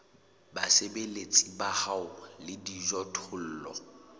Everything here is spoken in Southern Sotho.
basebeletsi ba hao le dijothollo